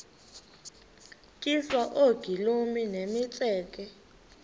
tyiswa oogolomi nemitseke